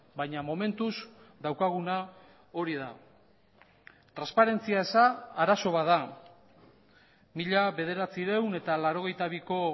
bainamomentuz daukaguna hori da transparentzia eza arazo bat da mila bederatziehun eta laurogeita biko